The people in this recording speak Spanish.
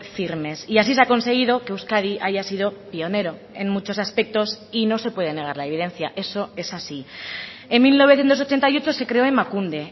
firmes y así se ha conseguido que euskadi haya sido pionero en muchos aspectos y no se puede negar la evidencia eso es así en mil novecientos ochenta y ocho se creó emakunde